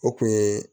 O kun ye